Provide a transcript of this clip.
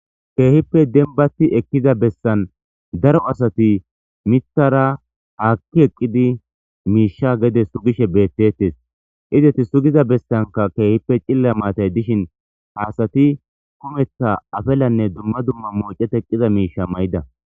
Keehippe denbati ekkiza bessan daro asati miiththara haakki eqqidi miishsha gede sugishesh bettettes izeti sugiza bessanka keehippe cilla maatay dishin haasati kumeeththa afellanne dumma dumma moocet eqqiza miisha mayidda